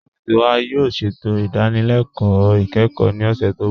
Ọfiisi wa yóò ṣẹ̀tò idànílélẹ̀kọ ikẹ́kọ̀ ní ọṣẹ̀ tó nbọ̀.